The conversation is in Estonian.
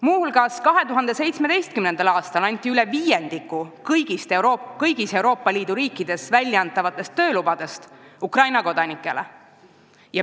Muuseas, 2017. aastal anti üle viiendiku kõigist Euroopa Liidu riikides väljastatavatest töölubadest Ukraina kodanikele.